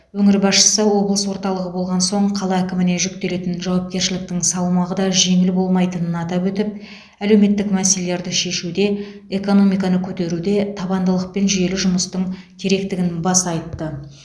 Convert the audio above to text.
өңір басшысы облыс орталығы болған соң қала әкіміне жүктелетін жауапкершіліктің салмағы да жеңіл болмайтынын атап өтіп әлеуметті мәселелерді шешуде экономиканы көтеруде табандылық пен жүйелі жұмыстың керектігін баса айтты